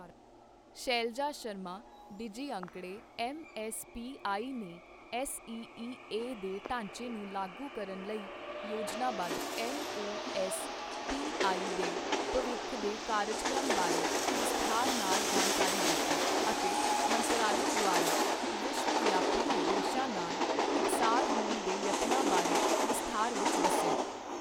Shailja Sharma, DG ਅੰਕੜੇ, MSPI ਨੇ SEEA ਦੇ ਢਾਂਚੇ ਨੂੰ ਲਾਗੂ ਕਰਨ ਲਈ ਯੋਜਨਾਬੱਧ ਐਮਓਐਸਪੀਆਈ ਦੇ ਭਵਿੱਖ ਦੇ ਕਾਰਜਕ੍ਰਮ ਬਾਰੇ ਵਿਸਥਾਰ ਨਾਲ ਜਾਣਕਾਰੀ ਦਿੱਤੀ ਅਤੇ ਮੰਤਰਾਲੇ ਦੁਆਰਾ ਵਿਸ਼ਵਵਿਆਪੀ ਉਦੇਸ਼ਾਂ ਨਾਲ ਇਕਸਾਰ ਹੋਣ ਦੇ ਯਤਨਾਂ ਬਾਰੇ ਵਿਸਥਾਰ ਵਿੱਚ ਦੱਸਿਆ।